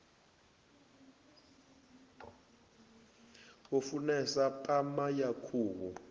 u funesa pama ya khuhu